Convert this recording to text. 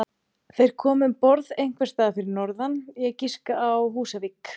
Þeir komu um borð einhvers staðar fyrir norðan, ég giska á Húsavík.